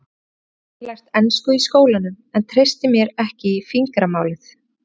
Hafði ekki lært ensku í skólanum og treysti mér ekki í fingramálið.